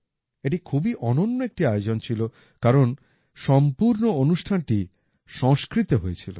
এটি খুবই অনন্য একটি আয়োজন ছিল কারণ সম্পূর্ণ অনুষ্ঠানটি সংস্কৃতে হয়েছিল